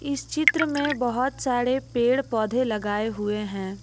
इस चित्र में बहोत सारे पेड़ पौधे लगाए हुए हैं।